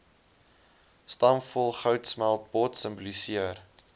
stampvol goudsmeltpot simboliseer